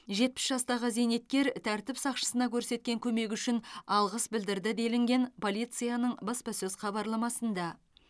жетпіс жастағы зейнеткер тәртіп сақшысына көрсеткен көмегі үшін алғыс білдірді делінген полицияның баспасөз хабарламасында